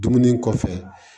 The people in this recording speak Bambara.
Dumuni kɔfɛ